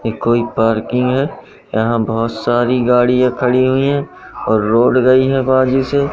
ये कोई पार्किंग है यहां बहुत सारी गाड़ियां खड़ी हुई हैं और रोड गई है से--